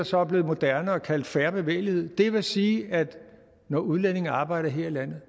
så er blevet moderne at kalde fair bevægelighed det vil sige at når udlændinge arbejder her i landet